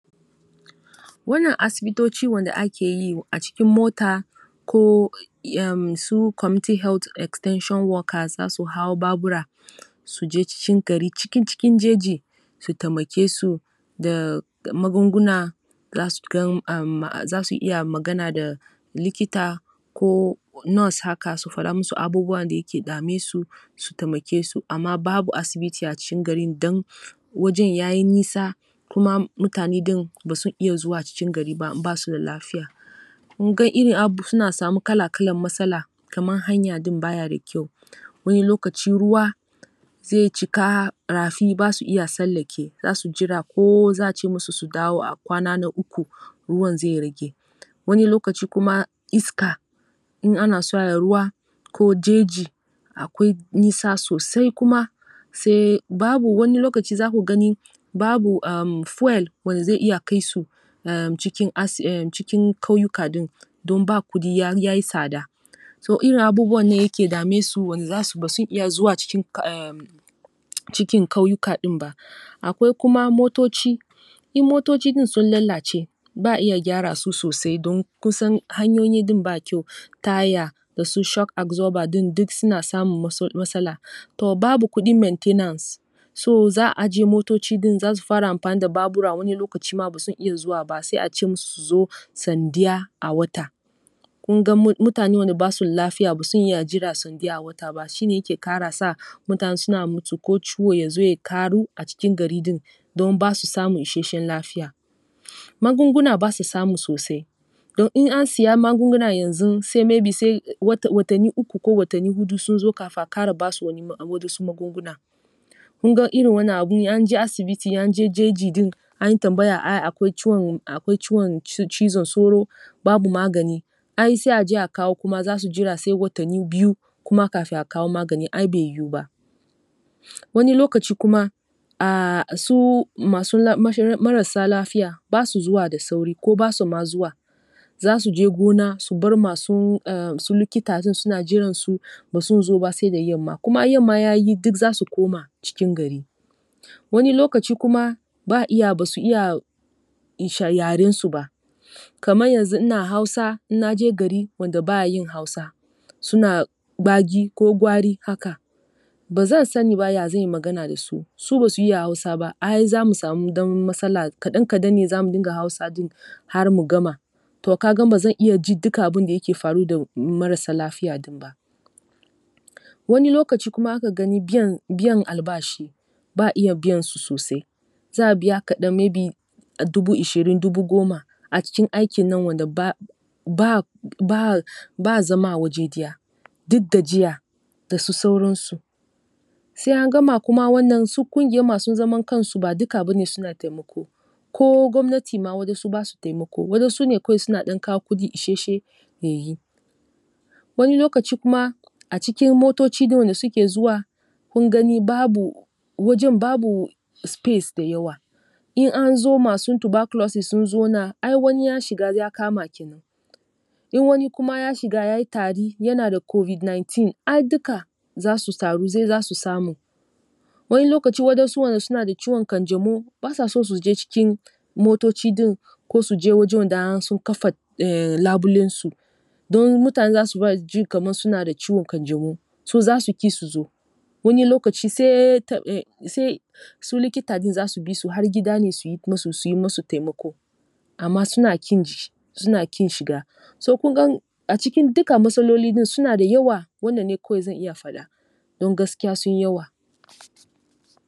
Wannan asibitoci wanda ake yi a cikin mota ko su community health extension workers za su hau babura su je cikin gari, ciki cikin jeji su taimake su da magunguna za su gan um za su iya magana da likita ko nas haka, su faɗa da abubuwan da yake dame su, su taimake su amma babu asibiti a cikin garin don wajen ya yi nisa kuma mutane din ba su iya zuwa cikin gari. Kun ga irin ab, suna samu kala-kalan masala kaman hanya din ba yi da kyau. Wani lokaci ruwa zai cika rafi ba su iya sallake za su jira ko za a ce musu su dawo a kwana na uku, ruwan zai rage. Wani lokaci kuma iska in ana so a yi ruwa ko jeji akwai nisa sosai kuma sai, babu wani lokaci za ku gani babu um fuel wanda zai iya kai su um cikin as, cikin kauyuka din don ba kudi ya yi sada. So irin abubuwan ne yake dame su wanda ba sun iya cuikin um cikin kauyujkan din ba. Akwai kuma motoci. In motoci din sun lallace ba iya gyara su sosai don kusan hanyoyi din ba kyau. Taya su shock absorber din duk suna samun masala, to babu kudin maintenance So, za a ajiye motocin din za su fara amfani da babura wani lokaci ma ba sun iya zuwa ba sai a ce musu su zo san daya a wata. Kun ga mutane wanda ba su da lafiya ba sun iya jira san daya a wata ba shi ne yake kara sa mutane suna mutu ko ciwo ya zo ya karu a cikin gari din. Don ba su samun isasshen lafiya. Magunguna ba su samu sosai don in saya magunguna yanzun sai maybe sai watanni uku ko watanni hudu sun zo kafin a kara ba su wadansu magungunan. Kun ga irin wannan abin in an je asibiti in an je jeji din an yi tambaya ai akwai ciwon cizon sauro babu magani Ai sai a je a kawo kuma za su jira sai watanni biyu kuma a kawo magani. Ai bai yiwu ba. Wani lokaci kuma um su masu marasa lafiya ba su zuwa da sauri ko ba su ma zuwa Za su je gona su bar su masu likita din suna jiransu ba sun zo ba sai da yamma, kuma yamma ya yi duk za su koma cikin gari Wani lokaci kuma ba a iya ba su iya yarensu ba. Kaman yanzu ina Hausa in na je gari wanda ba a yin Hausa suna bagi ko gwari haka. Ba zan sani ba ya zan yi magana da su, su ba su iya Hausa ba ai za mu smau dan masala. Kadan-kadan ne za mu dinga Hausa din. har mu gama. To ka ga ba zan iya ji dukkan abin da yake faru da marasa lafiya din ba. Wani lokaci kuma za ka gani biyan albashi. Ba a biyan su sosai. Za a biya ka dan maybe dubu ishirin dubu goma a cikin aikin nan wanda ba ba ba ba zama a waje daya--duk gajiya da su sauransu. Sai an gama wannan kuma su kungiya masu zaman kansu ba duka ba ne suna taimako. Ko gwamnati ma wasu ba sa taimako. Wadansu ne kawai suna dan kawo kudi isasshe ya yi. Wani lokaci kuma a cikin motocin da suke zuwa kun gani babu wajen babu space da yawa. In an zo masu tuberculosis sun zauna ai ya shiga ya kama ke nan. In wani ya shiga kuma ya yi tari yana da COVID-19 ai duka za su taru za su samu. Wani lokaci wadansu wanda suna da ciwon kanjamau ba sa so su je cikin motoci din ko su je wanda sun kafa labulensu. Don mutane za su kaman suna da ciwon kanjamau, so za su ki su zo, wani lokaci sai um su likita din za su bi su har gida ne su yi masu taimako, amma kin ji suna kin shiga. So kun gan a cikin duka masaloli din suna da yawa wannan ne kawai zan iya fada, don gaskiya sun yi yawa.